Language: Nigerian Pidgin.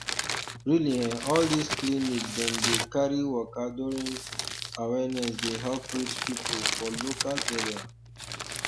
really eh all this clinic dem dey carry waka during um awareness dey help reach people for local area